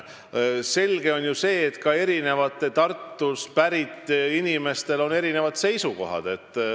Selge on ju see, et ka Tartust pärit inimesed ei ole ühel seisukohal.